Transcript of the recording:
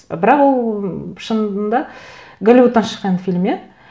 бірақ ол шынында голливудтан шыққан фильм иә